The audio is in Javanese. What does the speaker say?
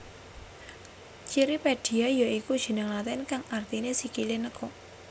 Cirripedia ya iku jeneng latin kang artiné sikilé nekuk